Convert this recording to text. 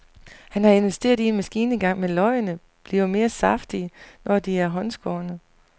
Han har investeret i en maskine engang, men løgene bliver mere saftige, når de er håndskårne.